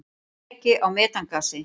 Leki á metangasi.